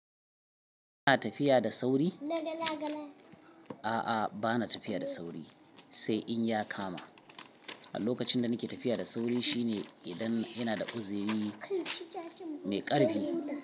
Kina tafiya da sauri? A'a bana tafiya da sauri, sai in ya kama. A lokacin da nake tafiya da sauri shine idan ina da uziri mai ƙarfi.